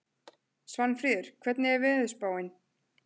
Svanfríður, hvernig er veðurspáin?